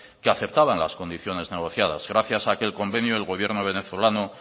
que aceptaban las condiciones negociadas gracias a aquel convenio el gobierno venezolano